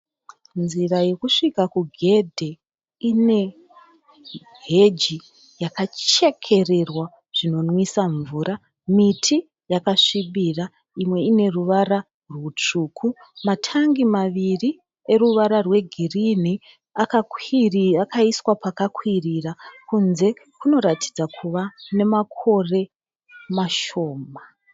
Nzira yekusvika kugedhe ine heji yakachekererwa zvinonwisa mvura . Miti yakasvibira. Imwe ine ruvara rutsvuku. Matangi maviri eruvara rwegirinhi akaiswa pakakwirira. Kunze kunoratidza kuva nemakore mashoma.